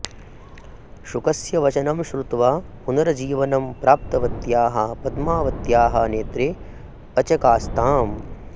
शुकस्य वचनं श्रुत्वा पुनर्जीवनं प्राप्तवत्याः पद्मावत्याः नेत्रे अचकास्ताम्